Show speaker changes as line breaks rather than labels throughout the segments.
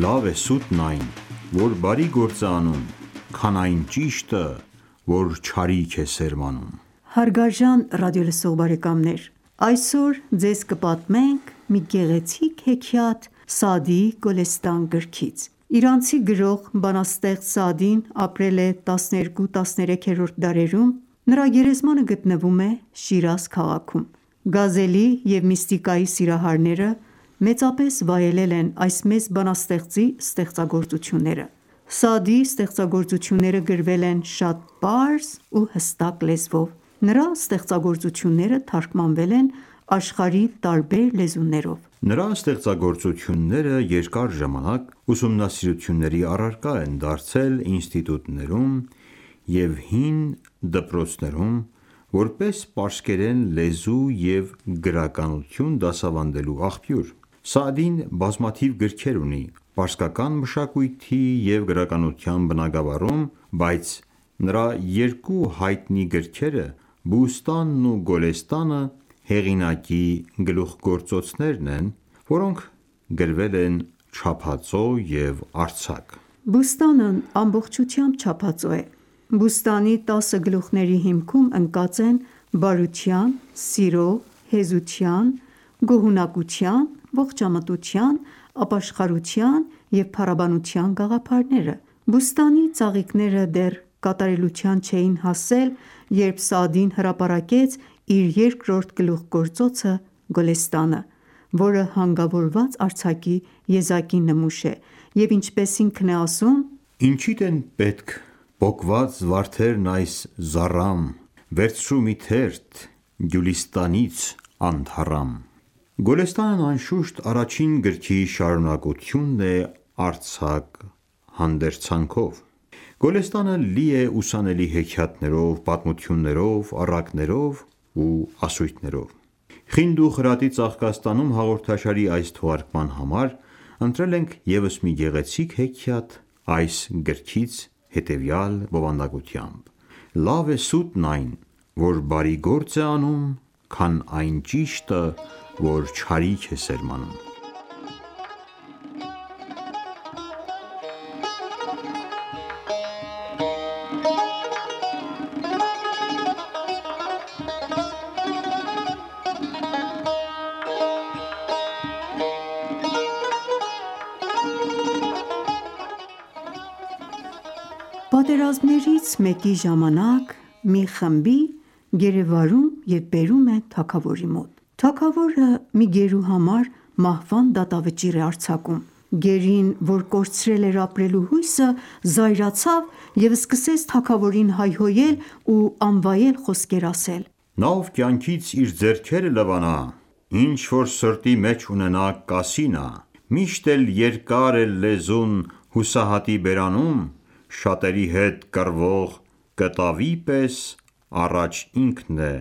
«Լավ է սուտն այն, որ բարի գործ է անում, քան այն ճիշտը, որ չարիք է սերմանում»:
Հարգարժան ռադիոլսող բարեկամներ, այսօր Ձեզ կպատմենք մի գեղեցիկ հեքիաթ Սաադիի Գոլեստան գրքից: Իրանցի գրող, բանաստեղծ Սաադին ապրել է 12-13-րդ դարերում (հիջրեթի 7-րդ և 8-րդ դարերում): Նրա գերեզմանը գտնվում է Շիրազ քաղաքում։ Գազելի և միստիկայի սիրահարները մեծապես վայելել են այս մեծ բանաստեղծի ստեղծագործությունները: Սաադիի ստեղծագործությունները գրվել են շատ պարզ ու հստակ լեզվով: Նրա ստեղծագործությունները թարգմանվել են աշխարհի տարբեր լեզուներով:
Նրա ստեղծագործությունները երկար ժամանակ ուսումնասիրությունների առարկա են դարձել ինստիտուտներում և հին դպրոցներում՝ որպես պարսկերեն լեզու և գրականություն դասավանդելու աղբյուր: Սաադին բազմաթիվ գրքեր ունի պարսկական մշակույթի և գրականության բնագավառում, բայց նրա երկու հայտնի գրքերը՝ «Բուստանն» ու «Գոլեստանը», հեղինակի լուխգործոցներն են, որոնք գրվել են չափածո և արձակ։
«Բուստան»-ն ամբողջությամբ չափածո է: «Բուստանի» տասը գլուխ­ների հիմքում ընկած են բարության, սիրո, հեզության, գոհունակության, ողջամտության, ապաշխարության և փառաբանության գաղափարները։ «Բուստանի» ծաղիկները դեռ կատարելության չէին հասել, երբ Սաադին հրապարակեց իր երկրորդ գլուխգործոցը «Գոլեստանը», որը հանգավորված արձակի եզակի նմուշ է և ինչպես ինքն է ասում.
«Ինչիդ են պետք պոկված վարդերն այս զառամ, վերցրու մի թերթ «Գյուլիստանից» անթառամ»։ «Գոլեստանն» անշուշտ, առաջին գրքի շարունակությունն է արձակ հանդերձանով: Գոլեստանը լի է ուսանելի հեքիաթներով, պատմություններով, առակներով ու ասույթներով։ «Խինդ ու խրատի ծաղկաստանում» հաղորդաշարի այս թողարկման համար ընտրել ենք ևս մի գեղեցիկ հեքիաթ այս գրքից, հետևյալ բովանդակությամբ՝ «Լավ է սուտն այն, որ բարի գործ է անում, քան այն ճիշտը, որ չարիք է սերմանում»: Պատմող-
Պատերազմներից մեկի ժամանակ մի խմբի գերեվարում և բերում են թագավորի մոտ: Թագավորը մի գերու համար մահվան դատավճիռ է արձակում: Գերին, որ կորցրել էր ապրելու հույսը, զայրացավ և սկսեց թագավորին հայհոյել ու անվայել խոսքեր ասել:
Նա, ով կյանքից իր ձեռքերը լվանա, Ինչ-որ սրտի մեջ ունենա, կասի նա: Միշտ էլ երկար է լեզուն հուսահատի բերանում, Շատերի հետ կռվող կտավի պես առաջ ինքն է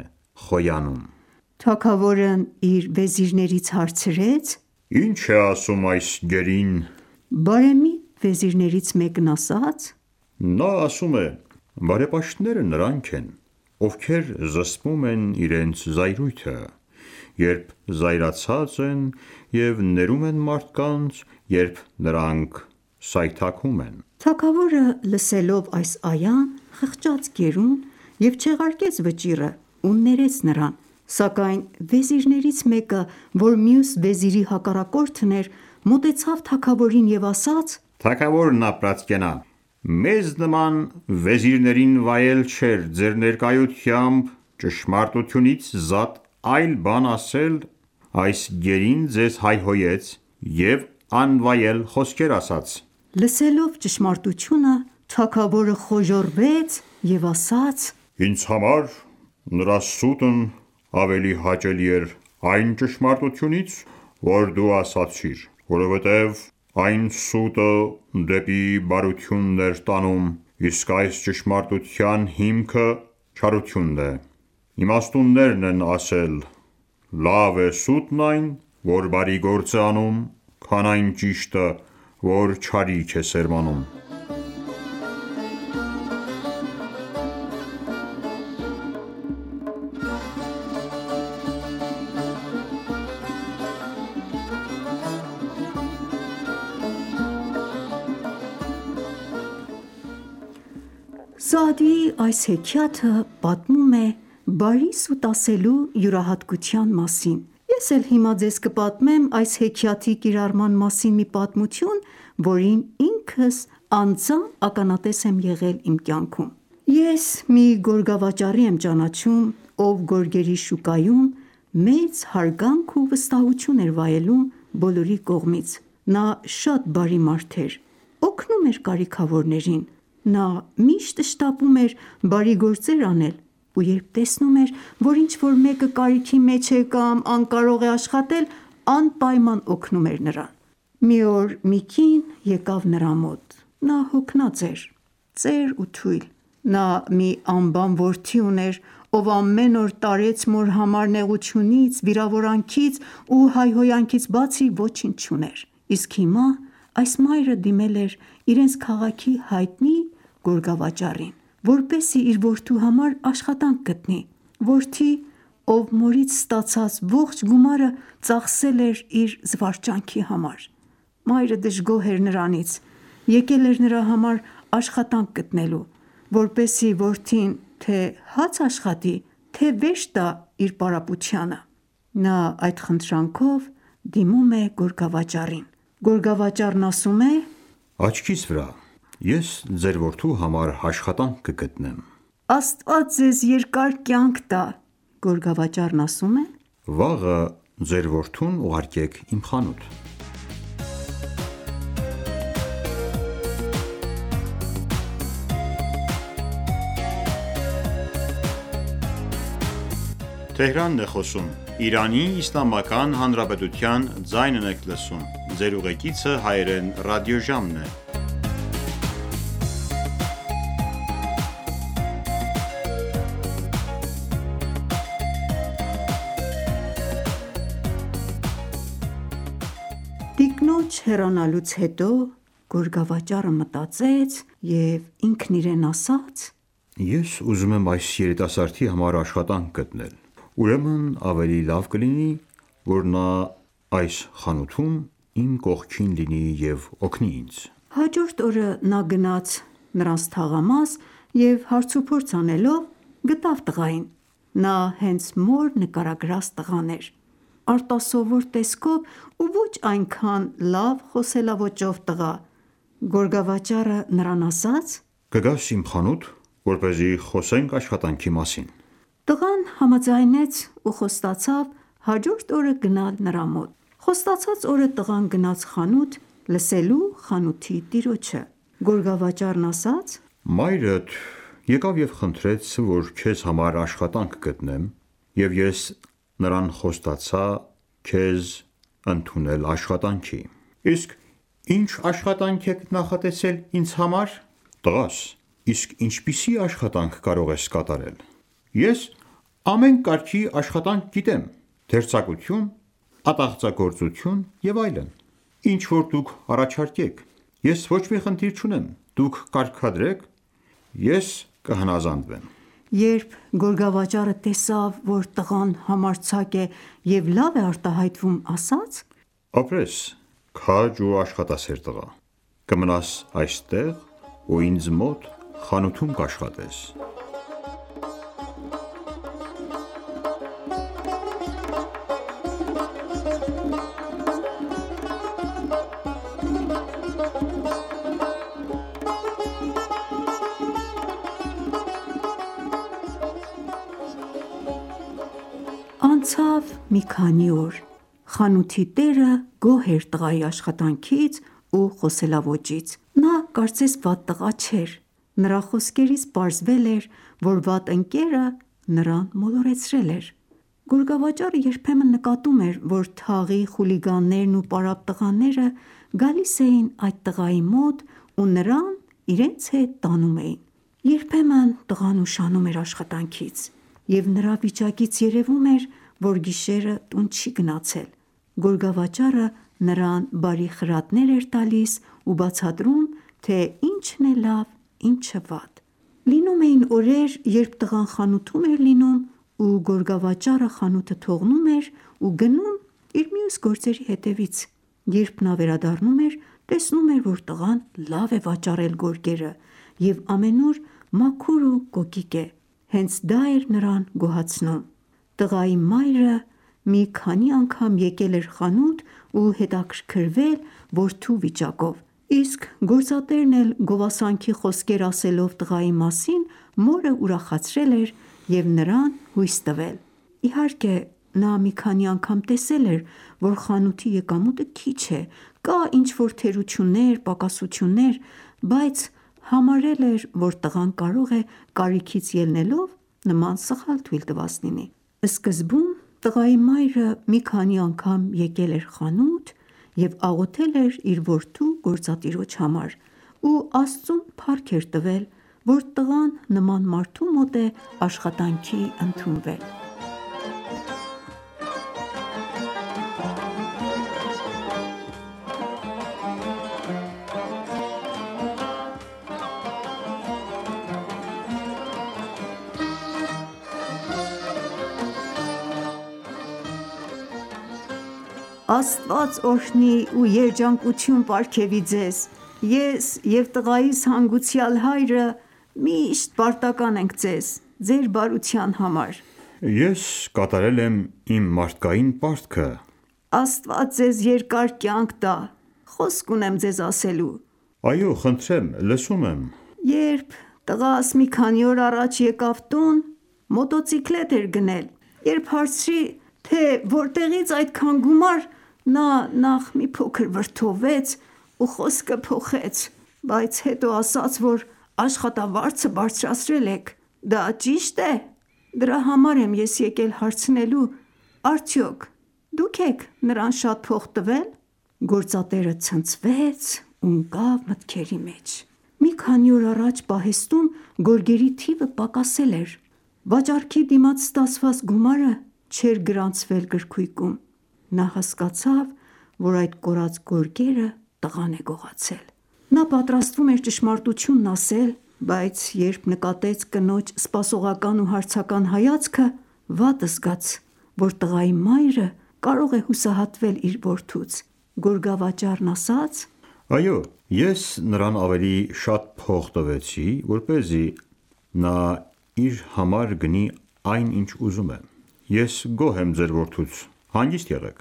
խոյանում:
Թագավորն իր վեզրիներից հարցրեց.
«Ի՞նչ է ասում այս գերին»:
Բարեմիտ վեզիրներից մեկն ասաց,
- Նա ասում է.«Բարեպաշտները նրանք են, ովքեր զսպում են իրենց զայրույթը, երբ զայրացած են, և ներում են մարդկանց, երբ նրանք սայթաքում են»: (Ալ- Էմրան սուրահի 134-րդ այա):
Թագավորը լսելով այս այան խղճաց գերուն և չեղարկեց վճիռը ու ներեց նրան: Սակայն վեզիրներից մեկը որ մյուս վեզիրի հակառակորդն էր, մոտեցավ թագավորին և ասաց.
«Թագավորն ապրած կենա, մեզ նման վեզիրներին վայել չէ ձեր ներկայությամբ ճշմարտությունից զատ այլ բան ասել. այս գերին ձեզ հայհոյեց և անվայել խոսքեր ասաց»:
Լսելով ճշմարտությունը, թագավորը խոժոռվեց և ասաց.
«Ինձ համար նրա սուտն ավելի հաճելի էր այն ճշմարտությունից, որ դու ասացիր, որովհետև այն սուտը դեպի բարությունն էր տանում, իսկ այս ճշմարտության հիմքը չարությունն է: Իմաստուններն ասել են. «Լավ է սուտն այն, որ բարի գործ է անում, քան այն ճիշտը, որ չարիք է սերմանում»:
Պատմող.- Սաադիի այս հեքիաթը պատմում է բարի սուտ ասելու յուրահատկության մասին: Ես էլ հիմա ձեզ կպատմեմ այս հեքիաթի կիրառման մասին մի պատմություն, որին ինքս անձամբ ականատես եմ եղել իմ կյանքում: Ես մի գորգավաճառի եմ ճանաչում, ով գորգերի շուկայում մեծ հարգանք ու վստահություն էր վայելում բոլորի կողմից։ Նա շատ բարի մարդ էր, օգնում էր կարիքավորներին: Նա միշտ շտապում էր բարի գործեր անել ու երբ տեսնում էր, որ ինչ-որ մեկը կարիքի մեջ է և անկարող է աշխատել, անպայման օգնում էր նրան։ Մի օր մի կին եկավ նրա մոտ: Նա հոգնած էր, ծեր ու թույլ։ Նա մի անբան որդի ուներ, ով ամեն օր տարեց մոր համար նեղությունից, վիրավորանքից ու հայոհայնքից բացի ոչինչ չուներ, իսկ հիմա այս մայրը դիմել էր իրենց քաղաքի հայտնի գոգավաճառին, որպեսզի իր որդու համար աշխատանք գտնի։ Որդի, ով մորից ստացած ողջ գումարը ծախսել էր իր զվարճանքի համար: Մայրը դժգոհ էր նրանից, եկել էր նրա համար աշխատանք գտնելու, որպեսզի որդին թե՛ հաց աշխատի, թե՛ վերջ տար պարապությանը: Նա այդ խնդրանքով դիմում է գորգավաճառին։ Գորգավաճառն ասում է,-
Աչքիս վրա, ես ձեր որդու համար աշխատանք կգտնեմ: Տղայի մայրը պատասխանում
է,- Աստված ձեզ երկար կյանք տա... Գորգավաճառն ասում
է,-Վաղը ձեր որդուն ուղարկեք իմ խանութ: Պատմող.Տիկնոջ
հեռանալուց հետո գորգավաճառը մտածեց և ինքն իրեն ասաց, «Ես
ուզում եմ այս երիտասարդի համար աշխատանք գտնել, ուրեմն ավելի լավ կլինի, որ նա այս խանութում իմ կողքին լինի և օգնի ինձ»։
Հաջորդ օրը նա գնաց նրանց թաղամաս և հարց ու փորձ անելով, գտավ տղային։ Նա հենց մոր նկարագրած տղան էր։ Արտասովոր տեսքով ու ոչ այնքան լավ խոսելաոճով տղա։ Գորգավաճառը նրան ասաց․
-Կգաս իմ խանութ, որպեսզի խոսենք աշխատանքի մասին
։ Տղան համաձայնեց ու խոստացավ հաջորդ օրը գնալ նրա մոտ։ Խոստացած օրը տղան գնաց խանութ լսելու խանութի տիրոջը: Գորգավաճառ,-Մայրդ
եկավ և խնդրեց, որ քեզ համար աշխատանք գտնեմ և ես նրան խոստացա քեզ ընդունեմլ աշխատանքի: Տղա,- Իսկ ի՞նչ աշխատանք եք նախատեսել ինձ համար: Տղամարդ ,- Տղաս, իսկ ի՞նչպիսի աշխատանք կարող ես կատարել: Տղա,- Ես ամեն կարգի աշխատանք գիտեմ: Դերձակություն, ատաղձագործություն և այլն: Ինչ-որ դուք առաջարկեք: Ես ոչ մի խնդիր չունեմ: Դուք կարգադրեք, ես կհնազանդվեմ:
Երբ գորգավաճառը տեսավ, որ տղան համարձակ է և լավ է արտահայտվում ասաց.«Ապրես
քաջ ու աշխատասեր տղա։ Կմնաս այստեղ ու ինձ մոտ խանութում կաշխատես»:
Պատմող.Անցավ մի քանի օր: Խանութի տերը գոհ էր տղայի աշխատանքից ու խոսելաոճից: Նա կարծես վատ տղա չէր։ Նրա խոսքերից պարզվել էր, որ վատ ընկերը նրան մոլորեցրել էր։ Գորգավաճառը երբեմն նկատում էր, որ թաղի խուլիգաներն ու պարապ տղաները գալիս էին այդ տղայի մոտ ու նրան իրենց հետ տանում էին: Երբեմն տղան ուշանում էր աշխատանքից, և նրա վիճակից երևում էր, որ գիշերը տուն չի գնացել։ Գորգավաճառը նրան բարի խրատներ էր տալիս ու բացատրում, թե ինչն է լավ, ինչը վատ։ Լինում էին օրեր երբ տղան խանութում էր լինում ու գորգավաճառը խանութը թողնում էր ու գնում իր մյուս գործերի հետևից: Երբ նա վերադառնում էր, տեսնում էր, որ տղան լավ է վաճառել գորգերը, և ամենուր մաքուր ու կոկիկ է։ Հենց դա էր նրան գոհացնում։ Տղայի մայրը մի քանի անգամ եկել էր խանութ ու հետաքրքրվել որդու վիճակով, իսկ գործատերն էլ գովասանքի խոսքեր ասելով տղայի մասին, մորը ուրախացրել էր և նրան հուսյ տվել: Իհարկե, նա մի քանի անգամ տեսել էր, որ խանութի եկամուտը քիչ է, կան ինչ-որ թերություններ, բայց համարել էր, որ տղան կարող է կարիքից ելնելով նման սխալ թույլ տված լինել: Սկզբում տղայի մայրը մի քանի անգամ եկել էր խանութ և աղոթել էր իր որդու գործատիրոջ համար, ու Աստծուն փառք էր տվել, որ տղան նման մարդու մոտ է աշխատանքի ընդունվել: Տղայի մայրը. Աստված օրհնի ու երջանկություն պարգևի Ձեզ: Ես և տղայիս հանգուցյալ հայրը միշտ պարտական ​​ենք ձեզ, ձեր բարության համար:
Խանութի
տերը. Ես կատարել եմ իմ մարդկային պարտքը: Տղայի մայր - Աստված Ձեզ երկար կյանք տա, խոսք ունեմ ձեզ ասելու: Խանութի տերը. Այո, խնդրեմ, լսում եմ: Տղայի մայր.- Երբ տղաս մի քանի օր առաջ եկավ տուն մոտոցիկլետ էր գնել: Երբ հարցրի, թե որտեղի՞ց այդքան գումար, նա նախ մի փոքր վրդովվեց ու խոսքը փոխեց: Բայց հետո ասաց, որ աշխատավարձը բարձրացրել եք։ Դա ճի՞շտ է: Դրա համար ես եկել եմ հարցնելու, արդյոք դո՞ւք են նրան շատ փող տվել: Պատմող. Գործատերը ցնցվեց ու ընկավ մտքերի մեջ: Մի քանի օր առաջ պահեստում գորգերի թիվը պակասել էր։ Վաճառքի դիմաց ստացված գումարը չէր գրանցվել գրքույկում։ Նա հասկացավ, որ այդ կորած գորգերը տղան է գողացել: Նա պատրաստվում էր ճշմարտությունն ասել, բայց երբ նկատեց կնոջ սպասողական ու հարցական հայացքը, վատ զգաց, որ տղայի մայրը կարող է հուսահատվել իր որդուց: Գորգավաճառն ասաց.
-Այո, Ես նրան ավելի շատ փող տվեցի, որպեսզի նա իր համար գնի այն, ինչ ուզում է։ Ես գոհ եմ ձեր որդուց, հանգիստ եղեք։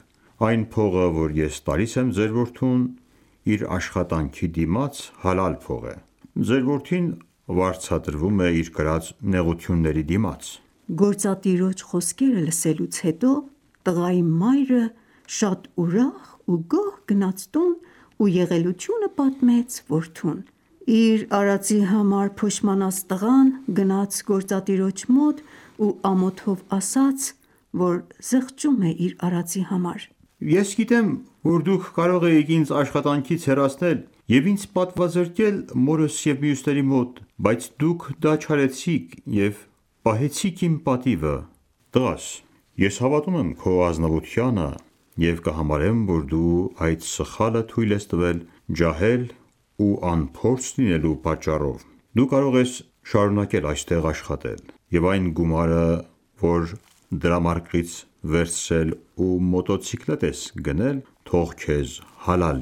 Այն փողը, որ ես տալիս եմ ձեր որդուն իր աշխատանքի դիմաց, հալալ փող է։ Ձեր որդին վարձատրվում է իր կրած նեղությունների դիմաց:
Պատմող.Գործատիրոջ խոսքերը լսելուց հետո, տղայի մայրը շատ ուրախ ու գոհ գնաց տուն ու եղելությունը պատմեց որդուն: Իր արածի համար փոշմանած տղան գնաց գործատիրոջ մոտ ու ամոթով ասաց, որ զղջում է իր արածի համար:
Տղա – Ես գիտեմ, որ դուք կարող էիք ինձ աշխատանքից հեռացնել և ինձ պատվազրկել մորս և մյուսների մոտ, բայց դուք դա չարեցիք և պահեցիք իմ պատիվը: Գորգավաճառ. Տղա՛ս, ես հավատում եմ քո ազնվությանը և կհամարեմ, որ դու այս սխալը թույլ ես տվել ,ջահել ու անփորձ լինելու պատճառով: Դու կարող ես շառունակել այստեղ աշխատել և այն գումարը, որ դրամարկղից վերցրել ու մոտոցիկլետ ես գնել, թող քեզ հալալ